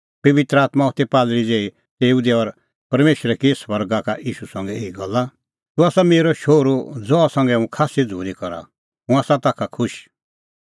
पबित्र आत्मां होथी कबूतरा ज़ेही तेऊ दी और परमेशरै की स्वर्गा का ईशू संघै एही गल्ला तूह आसा मेरअ शोहरू ज़हा संघै हुंह खास्सी झ़ूरी करा हुंह आसा ताखा खुश